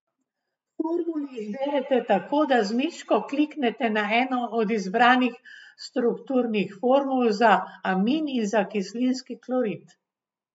Formuli izberete tako, da z miško kliknete na eno od izbranih strukturnih formul za amin in za kislinski klorid.